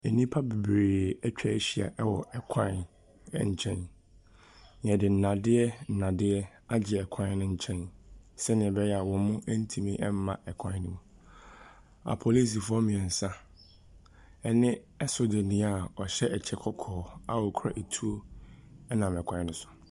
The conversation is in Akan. Nnipa bebree atwa ahyia wɔ kwan nkyɛn. Yɛde nnadeɛ nnadeɛ agye kwan ne nkyɛn sɛdeɛ ɛbɛyɛ a wɔntumi mma kwan ne mu. Apolisifoɔ mmiɛnsa ne sogyani a ɔhyɛ kyɛ kɔkɔɔ na okura tuo nam kwan ne so.